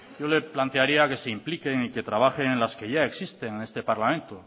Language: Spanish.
yo le plantearía que se implique y trabajen en las que ya existen en este parlamento